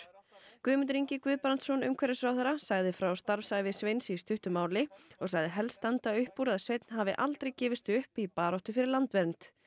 Guðmundur Ingi Guðbrandsson umhverfisráðherra sagði frá starfsævi Sveins í stuttu máli og sagði helst standa upp úr að Sveinn hafi aldrei gefist upp í baráttu fyrir landvernd